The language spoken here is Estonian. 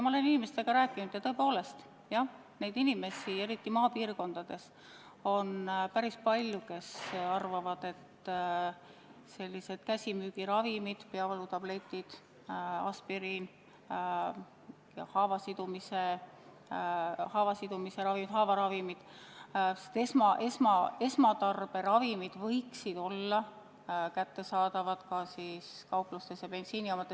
Ma olen inimestega rääkinud ja tõepoolest on eriti maapiirkondades päris palju inimesi, kes arvavad, et käsimüügis olevad peavalutabletid, aspiriin, haavaravimid ja muud esmatarberavimid võiksid olla kättesaadavad ka kauplustes ja bensiinijaamades.